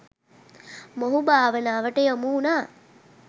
මොහු භාවනාවට යොමු වුණා.